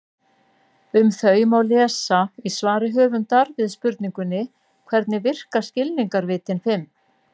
um þau má lesa í svari höfundar við spurningunni hvernig virka skilningarvitin fimm